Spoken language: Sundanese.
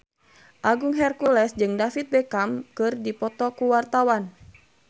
Agung Hercules jeung David Beckham keur dipoto ku wartawan